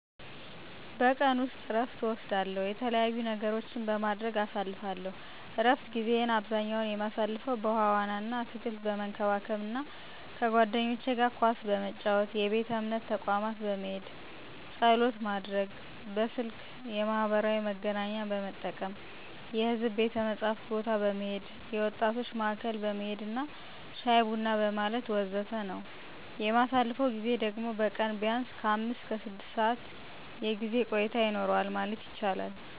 በቀን ውስጥ እረፍት እወስዳለው፥ የተለያዩ ነገሮችን በማድረግ አሳልፍለው። እረፍት ጊዜየን አብዛኛ የማሳልፈው በውሀ ዋና አና አትክልት በመንከባከብ አና ከባልንጄኖቸ ጋር ኳስ በመጫወት፣ የቤተ እምነት ተቋም በመሄድ ፀሎት ማድረግ፣ በስልክ የማህበራዊ መገናኛን በመጠቀም፣ የሕዝብ ቤተ መጽሀፍት ቦታ በመሄድ፣ የወጣቶች ማዕከል በመሄድና ሻይ ቡና በማለት ወዘተ ነው። የማሳልፈው ጊዜ ደግሞ በቀን ቢያንስ ከአምስት እስከ ስድስት ሰዓት የጊዜ ቆይታ ይኖረዋል ማለት ይቻላል።